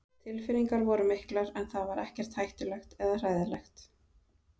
Tilfinningar voru miklar en það var ekkert hættulegt eða hræðilegt.